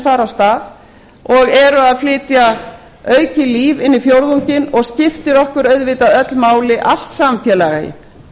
fara af stað og eru að flytja aukið líf inn í fjórðunginn og skiptir okkur auðvitað öll máli allt samfélagið